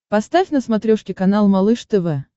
поставь на смотрешке канал малыш тв